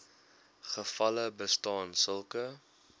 gevalle bestaan sulke